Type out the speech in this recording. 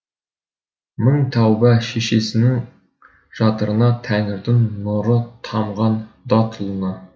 мың тәуба шешесінің жатырына тәңірдің нұры тамған датұлына